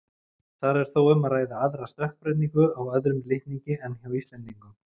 Þar er þó um að ræða aðra stökkbreytingu á öðrum litningi en hjá Íslendingum.